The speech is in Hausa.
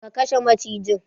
Ka kashe macijin!